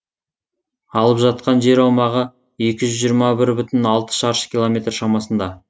алып жатқан жер аумағы екі жүз жиырма бір бүтін алты шаршы километр шамасында